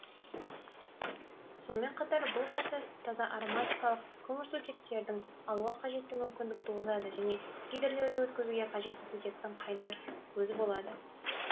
сонымен қатар бұл процесс таза ароматикалық көмірсутектердің алуға қажетті мүмкіндік туғызады және гидрлеуді өткізуге қажетті сутектің қайнар көзі болады